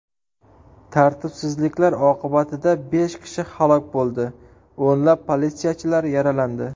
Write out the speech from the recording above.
Tartibsizliklar oqibatida besh kishi halok bo‘ldi, o‘nlab politsiyachilar yaralandi.